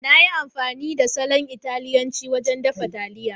Na yi amfani da salon Italiyanci wajen dafa taliyan.